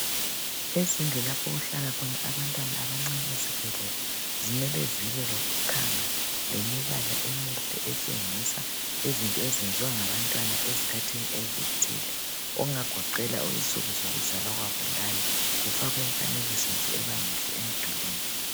Izindlu lapho okuhlala khona abantwana abancane ezibhedlela zimele zibe lokukhanga lemibala emihle etshengisa izinto ezenziwa ngabantwana ezikhathini ezithile okungagoqela insuku zokuzalwa kwabo lani kufakwe imifanekiso nje ebamihle emidulwini.